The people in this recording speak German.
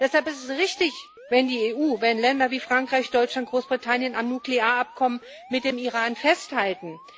Deshalb ist es richtig, wenn die EU, wenn Länder wie Frankreich, Deutschland oder Großbritannien am Nuklearabkommen mit dem Iran festhalten.